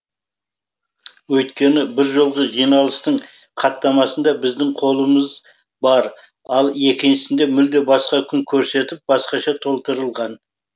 өйткені бір жолғы жиналыстың хаттамасында біздің қолымыз бар ал екіншісінде мүлде басқа күн көрсетіп басқаша толтырған